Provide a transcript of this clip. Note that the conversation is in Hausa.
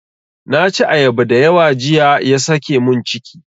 Na ci ayaba dayawa jiya ya sake mun ciki.